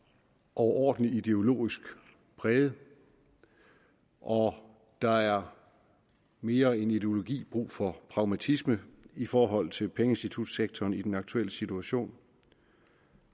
overordentlig ideologisk præget og der er mere end ideologi brug for pragmatisme i forhold til pengeinstitutsektoren i den aktuelle situation